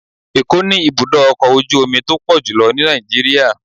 Ẹ̀ko ni ibudọ ọkọ ojú omí to pọjulọ ní Nijiriria